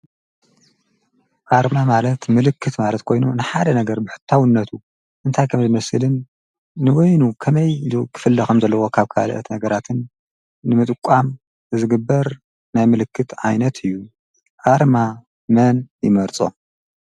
ኣርማ ማለት ምልክት ማለት ኮይኑ ንሓደ ነገር ብሕታውነቱ እንታይ ኸም ዝመስድን ንወይኑ ኸመይ ሉ ክፍልኸም ዘለዎ ኻብ ካልአት ነገራትን ንምጥቋም ዝግበር ናይ ምልክት ኣይነት እዩ ኣርማ መን ይመርጾ።